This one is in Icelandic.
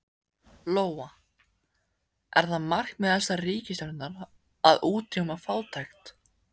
Lóa: Er það markmið þessarar ríkisstjórnar að útrýma fátækt?